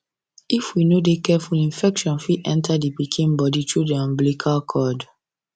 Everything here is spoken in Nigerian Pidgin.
if we no de careful infection fit enter the pikin body through the umbilical cord